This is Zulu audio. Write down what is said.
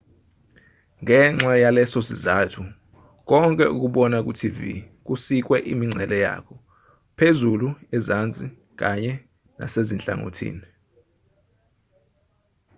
ngenxa yalesosizathu konke okubona kutv kusikwe imingcele yakho phezulu ezansi kanye nasezinhlangothini